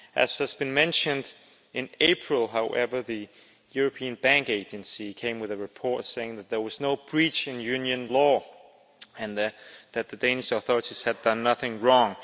As was mentioned in April, however, the European Banking Authority came with a report saying that there was no breach in Union law and that the Danish authorities had done nothing wrong.